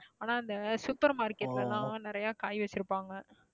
ஆனா அந்த super market ல எல்லாம் நிறைய காய் வச்சிருப்பாங்க